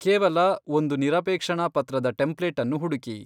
ಕೇವಲ ಒಂದು 'ನಿರಪೇಕ್ಷಣಾ ಪತ್ರದ ಟೆಂಪ್ಲೇಟ್' ಅನ್ನು ಹುಡುಕಿ.